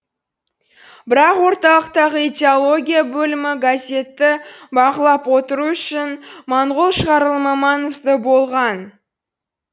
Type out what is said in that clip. бірақ орталықтағы идеология бөлімі газетті бақылап отыру үшін моңғол шығарылымы маңызды болған